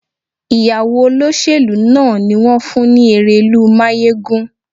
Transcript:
Ìyàwó olóṣèlú náà ni wón fún ní erelú máyégún.